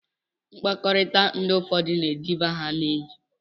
Mkpakọrita ndi ụfọdu na ediba ha na enyi.